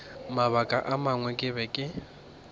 mabaka a mangwe ke be